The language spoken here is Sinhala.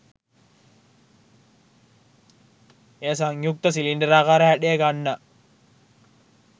එය සංයුක්ත සිලින්ඩරාකාර හැඩය ගන්නා